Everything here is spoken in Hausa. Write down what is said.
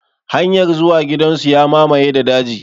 Hanyar zuwa gidan su ya mamaye da daji.